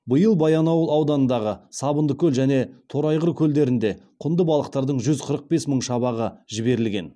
биыл баянауыл ауданындағы сабындыкөл және торайғыр көлдеріне құнды балықтардың жүз қырық бес мың шабағы жіберілген